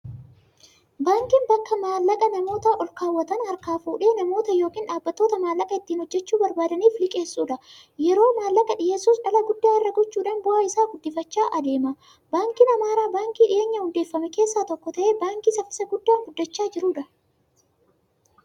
Baankiin bakka maallaqa namoota olkaawwatan harkaa fuudhee, namoota yookiin dhaabbattoota maallaqa ittiin hojjachuu barbaadaniif liqeeessudha. Yeroo maallaqa dhiyeessus dhala guddaa irra gochuudhan bu'aa isaa guddifachaa adeemsa. Baankiin Amaaraa baankii dhiyeenya hundeeffaman keessaa tokko ta'ee, baankii saffisa guddaan guddachaa jiruudha.